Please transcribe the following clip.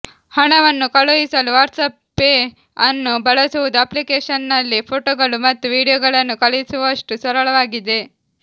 ಹಣವನ್ನು ಕಳುಹಿಸಲು WhatsApp pay ಅನ್ನು ಬಳಸುವುದು ಅಪ್ಲಿಕೇಶನ್ನಲ್ಲಿ ಫೋಟೋಗಳು ಮತ್ತು ವೀಡಿಯೊಗಳನ್ನು ಕಳುಹಿಸುವಷ್ಟು ಸರಳವಾಗಿದೆ